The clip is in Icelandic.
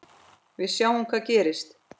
Við sjáum hvað gerist.